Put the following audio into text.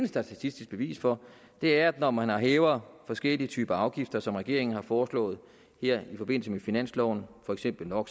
statistisk bevis for er at når man hæver forskellige typer af afgifter som regeringen har foreslået her i forbindelse med finansloven for eksempel no